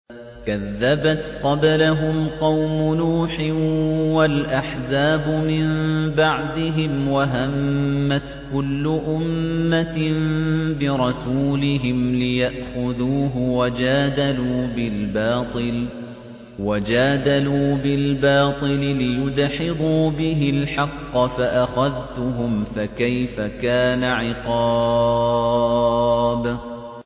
كَذَّبَتْ قَبْلَهُمْ قَوْمُ نُوحٍ وَالْأَحْزَابُ مِن بَعْدِهِمْ ۖ وَهَمَّتْ كُلُّ أُمَّةٍ بِرَسُولِهِمْ لِيَأْخُذُوهُ ۖ وَجَادَلُوا بِالْبَاطِلِ لِيُدْحِضُوا بِهِ الْحَقَّ فَأَخَذْتُهُمْ ۖ فَكَيْفَ كَانَ عِقَابِ